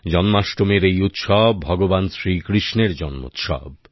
জন্মাষ্টমীর এই উৎসব ভগবান শ্রীকৃষ্ণের জন্মোৎসব